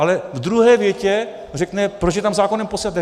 Ale v druhé větě řekne, proč je tam zákonem posíláte.